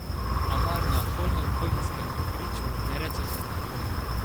A mar na holmenkollnskem griču ne rečete kako?